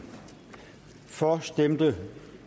for stemte